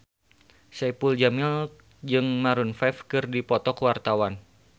Saipul Jamil jeung Maroon 5 keur dipoto ku wartawan